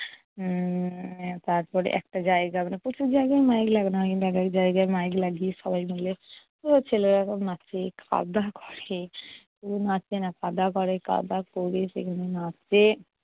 উম তারপরে একটা জায়গায়, মানে প্রচুর জায়গায়ও মাইক লাগানো হয়, কিন্তু এক এক জায়গায় মাইক লাগিয়ে সবাই মিলে পুরো ছেলেরা খুব নাচে, খাওয়া-দাওয়া করে। শুধু নাচে না, খাওয়া-দাওয়া করে, খাওয়া-দাওয়া করে সেখানে নাচে।